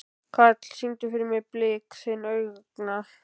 Karl, syngdu fyrir mig „Blik þinna augna“.